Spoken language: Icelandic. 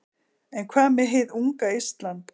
En hvað með hið unga Ísland?